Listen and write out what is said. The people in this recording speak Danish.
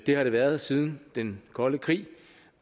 det har den været siden den kolde krig